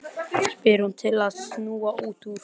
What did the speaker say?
spyr hún til að snúa út úr.